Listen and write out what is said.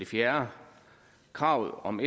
4 kravet om